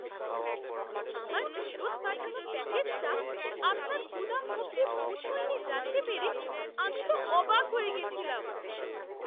আমার ফেরত পাঠানো প্যাকেজটা আপনার গুদাম অবধি পৌঁছয়নি জানতে পেরে আমি তো অবাক হয়ে গেছিলাম!